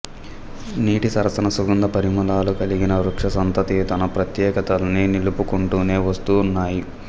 వీటి సరసన సుగంధ పరిమళాలు కలిగిన వృక్ష సంతతి తన ప్రత్యేకతల్ని నిలుపుకుంటూనే వస్తు న్నాయి